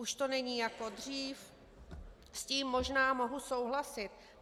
Už to není jako dřív, s tím možná mohu souhlasit.